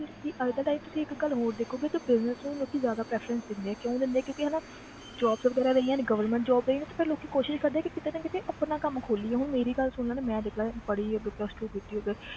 ਕਿ ਅੱਜ ਦਾ time ਤੁਸੀਂ ਇੱਕ ਗੱਲ ਹੋਰ ਦੇਖੋਗੇ ਕਿ business ਨੂੰ ਲੋਕੀ ਜ਼ਿਆਦਾ preference ਦਿੰਦੇ ਆ ਕਿਉਂ ਦਿੰਦੇ ਆ ਕਿਉਂਕਿ ਹਨਾ jobs ਵਗ਼ੈਰਾ ਰਹੀਆਂ ਨੀ government job ਰਹੀਆਂ ਨੀ ਤੇ ਫਿਰ ਲੋਕੀ ਕੋਸ਼ਿਸ਼ ਕਰਦੇ ਆ ਕਿ ਕਿਤੇ ਨਾ ਕਿਤੇ ਆਪਣਾ ਕੰਮ ਖੋਲੀਏ ਹੁਣ ਮੇਰੀ ਗੱਲ ਸੁਣ ਲਾ ਤੇ ਮੈਂ ਦੇਖ ਲਾ ਪੜ੍ਹੀ ਅੱਗੇ plus two ਕੀਤੀ ਅੱਗੇ